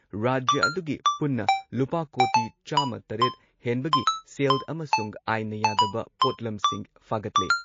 ꯔꯥꯖ꯭ꯌ ꯑꯗꯨꯒꯤ ꯄꯨꯟꯅ ꯂꯨꯄꯥ ꯀꯣꯇꯤ ꯆꯥꯝꯃ ꯇꯔꯦꯠ ꯍꯦꯟꯕꯒꯤ ꯁꯦꯜ ꯑꯃꯁꯨꯡ ꯑꯥꯏꯟꯅ ꯌꯥꯗꯕ ꯄꯣꯠꯂꯝꯁꯤꯡ ꯐꯥꯒꯠꯂꯦ ꯫